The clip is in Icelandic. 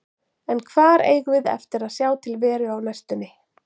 En hvar eigum við eftir að sjá til Veru á næstunni?